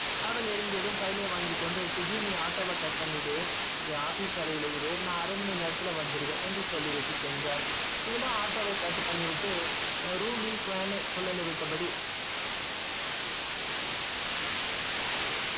அவள் இறங்கியதும் file ஐ வாங்கிகொண்டு சுஜ்ஜி நீ auto வ cut பண்ணிடு என் office அறையில இரு நான் அரைமணி நேரத்துல வந்துருவேன் என்று சொல்லிவிட்டு சென்றான் இவளும் ஆட்டோவை cut பண்ணிவிட்டு room ல் fan ஐ சுழலவிட்ட படி,